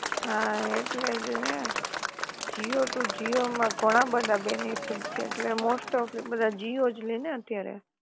હા એટલે જ ને જીઓ ટુ જીઓ માં ઘણા બધા બેનિફિટ છે, એટલે મોસ્ટ ઓફ બધા જીઓ જ લેય ને અત્યારે